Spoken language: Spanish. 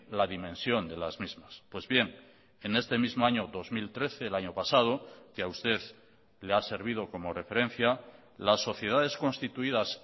la dimensión de las mismas pues bien en este mismo año dos mil trece el año pasado que a usted le ha servido como referencia las sociedades constituidas